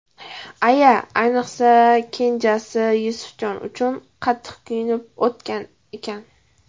Aya ayniqsa kenjasi Yusufjon uchun qattiq kuyunib o‘tgan ekan.